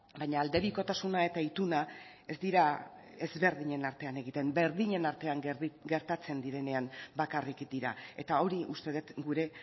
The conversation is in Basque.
baina aldebikotasuna eta ituna ez dira ezberdinen artean egiten berdinen artean gertatzen direnean bakarrik dira eta hori uste dut gure